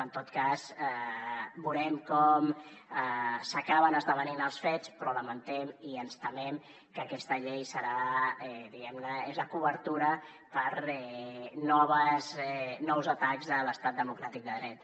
en tot cas veurem com s’acaben esdevenint els fets però lamentem i ens temem que aquesta llei serà diguem ne la cobertura per a nous atacs a l’estat democràtic de dret